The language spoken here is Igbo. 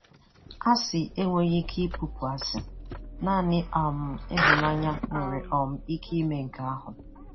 Asị enweghị ike ị̀pụ̀pụ̀ asị; naanị um ịhụnanya nwere um ike ime nke ahụ.